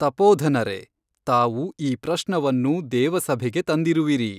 ತಪೋಧನರೆ ತಾವು ಈ ಪ್ರಶ್ನವನ್ನು ದೇವಸಭೆಗೆ ತಂದಿರುವಿರಿ.